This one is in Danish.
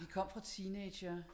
Vi kom fra teenagere